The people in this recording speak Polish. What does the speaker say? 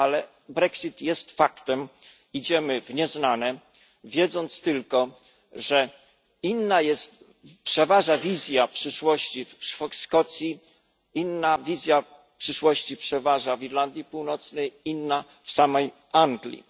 Ale Brexit jest faktem idziemy w nieznane, wiedząc tylko, że inna przeważa wizja przyszłości w Szkocji, inna wizja przyszłości przeważa w Irlandii Północnej, inna w samej Anglii.